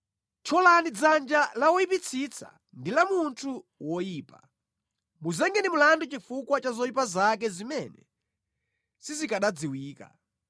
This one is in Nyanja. Thyolani dzanja la woyipitsitsa ndi la munthu woyipa; muzengeni mlandu chifukwa cha zoyipa zake zimene sizikanadziwika.